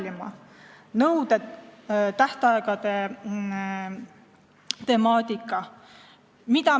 Lisan siia nõuete ja tähtaegade temaatika.